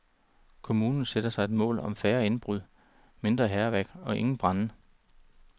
Kommunen satte sig et mål om færre indbrud, mindre hærværk og ingen brande.